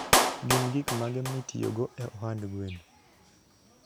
Gin gik mage mitiyogo e ohand gwen?